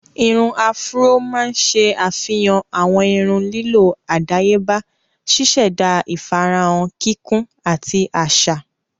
Irun áfúró máa ń ṣe ṣe àfihàn àwọn irun lílọ́ àdáyébá, ṣíṣẹ̀da ìfarahàn kíkún ati aṣa.